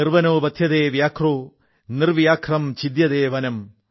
നിർവനോ വധ്യതേ വ്യാഘ്രോ നിർവ്യാഘ്രം ഛിദ്യതേ വനം